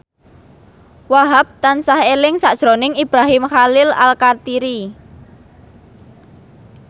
Wahhab tansah eling sakjroning Ibrahim Khalil Alkatiri